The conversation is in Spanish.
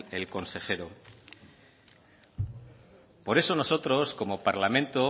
el consejero por eso nosotros como parlamento